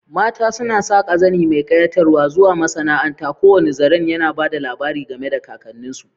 Mata suna saƙa zane mai kayatarwa zuwa masana'anta, kowane zaren yana ba da labari game da kakanninsu.